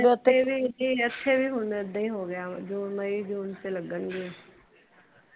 ਇੱਥੇ ਵੀ ਹੁਣ ਏਦਾਂ ਈ ਹੋਗਿਆ ਜੂਨ ਮਈ ਜੂਨ ਚ ਲਗਣਗੀਆਂ